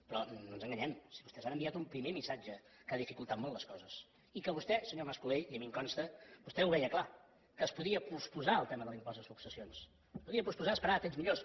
però no ens enganyem vostès han enviat un primer missatge que ha dificultat molt les coses i que vostè senyor mas colell i a mi em consta vostè ho veia clar que es podia posposar el tema de l’impost de successions es podia posposar a esperar temps millors